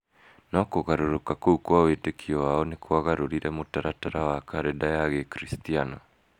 No kũgarũrũka kũu kwa wĩtĩkio wao nĩ kwagarũrire mũtaratara wa karenda ya gĩkiricitiano.